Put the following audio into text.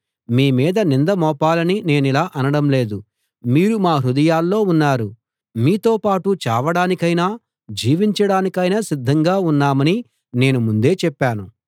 మీ మీద నింద మోపాలని నేనిలా అనడం లేదు మీరు మా హృదయాల్లో ఉన్నారు మీతో పాటు చావడానికైనా జీవించడానికైనా సిద్ధంగా ఉన్నామని నేను ముందే చెప్పాను